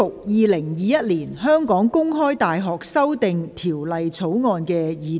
《2021年香港公開大學條例草案》。